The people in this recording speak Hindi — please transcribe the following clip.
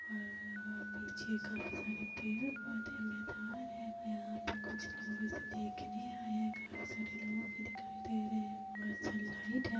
और अ पीछे काफी सारे पेड़-पौधे मैदान है और यहाँ पे कुछ लोग इसे देखने आए हैं काफी सारे लोग दिखाई दे रहे हैं और सनलाइट है।